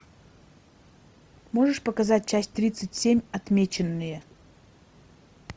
можешь показать часть тридцать семь отмеченные